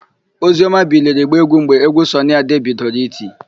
Ozioma biliri gbaa égwú mgbe égwú Sọnị Ade bidoro iti.